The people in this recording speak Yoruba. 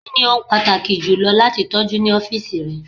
Kini ohun pataki julọ lati tọju ni ọfiisi rẹ?